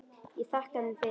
Ég þakkaði þeim fyrir.